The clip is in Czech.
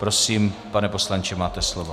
Prosím, pane poslanče, máte slovo.